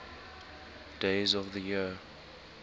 days of the year